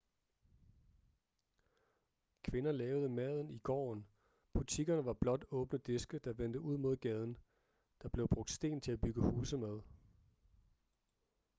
kvinder lavede maden i gården butikkerne var blot åbne diske der vendte ud mod gaden der blev brugt sten til at bygge huse med